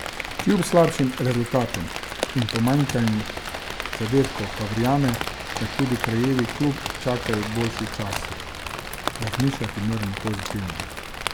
Kljub slabšim rezultatom in pomanjkanju zadetkov pa verjame, da tudi kraljevi klub čakajo boljši časi: "Razmišljati moramo pozitivno.